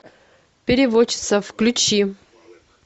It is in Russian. переводчица включи